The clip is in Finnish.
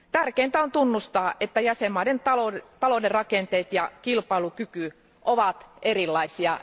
Tärkeintä on tunnustaa, että jäsenvaltioiden talouden rakenteet ja kilpailukyky ovat erilaisia.